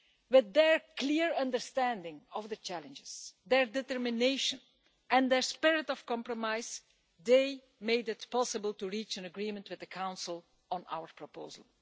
With their clear understanding of the challenges, their determination and their spirit of compromise, they made it possible to reach an agreement with the Council on our proposal.